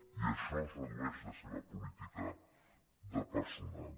i a això es redueix la seva política de personal